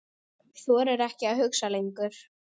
Þorir ekki að hlusta lengur.